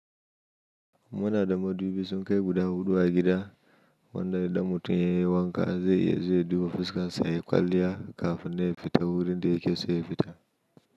Muna da madubi sun kai guda huɗu a gida wanda idan mutum ya yi wanka zai iya zuwa fuska sa ya kwaliya kafin na ya fita wurin da ya kiso ya fita.